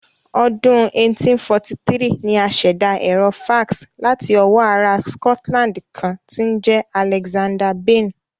Ọdún 1843 ni a ṣẹ̀dá Ẹ̀rọ fax láti ọwọ́ ará Scotland kan tí ń jẹ́ Alexander Bain